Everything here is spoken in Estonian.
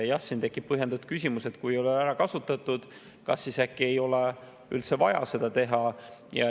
Jah, siin tekib põhjendatud küsimus, et kui ei ole ära kasutatud, kas siis äkki ei ole üldse vaja seda asja teha.